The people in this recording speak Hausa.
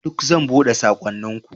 Duk zan buɗe saƙonninku.